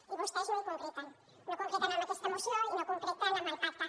i vostès no ho concreten no ho concreten en aquesta moció i no ho concreten en el pacte